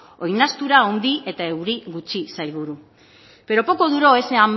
oinaztura handi eta euri gutxi sailburu pero poco duró ese